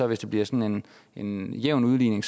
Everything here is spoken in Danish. hvis det bliver sådan en jævn udligning